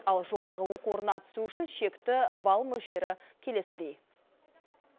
ал жоғарғы оқу орнына түсу үшін шекті балл мөлшері келесідей